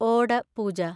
ഓട പൂജ